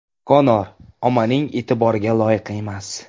Konor ommaning e’tiboriga loyiq emas.